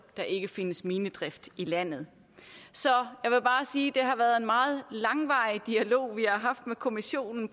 der ikke findes minedrift i landet så jeg vil bare sige at det har været en meget langvarig dialog vi har haft med kommissionen